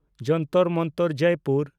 Jantar Mantar (Jaipur)